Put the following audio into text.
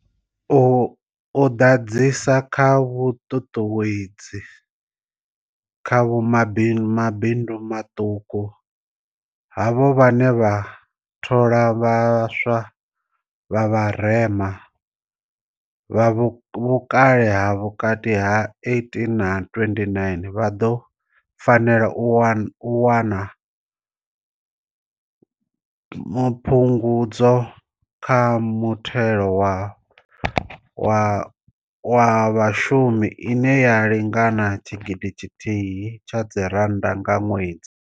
U ḓadzisa kha vhuṱuṱuwedzi uho kha mabindu maṱuku, havho vhane vha thola vha swa vha vharema, vha vhukale ha vhukati ha 18 na 29, vha ḓo fanela u wana phungudzo kha muthelo wa vhashumi ine ya lingana R1 000 nga ṅwedzi.